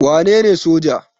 Wa nene soja?